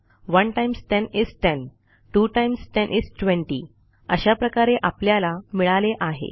1 times 10 is 10 2 times 10 is 20 अशा प्रकारे आपल्याला मिळाले आहे